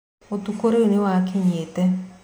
ũtukũ rĩu nĩwakinyĩte